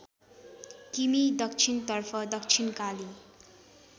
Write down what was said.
किमि दक्षिणतर्फ दक्षिणकाली